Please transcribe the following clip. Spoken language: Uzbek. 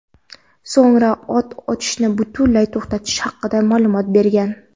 so‘ngra o‘t ochishni butunlay to‘xtatish haqida ma’lumot bergan.